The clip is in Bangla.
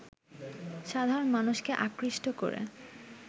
সাধারণ মানুষকে আকৃষ্ট করে